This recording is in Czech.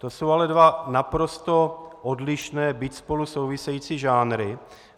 To jsou ale dva naprosto odlišné, byť spolu související žánry.